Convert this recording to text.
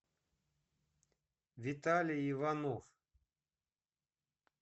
виталий иванов